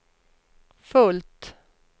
fullt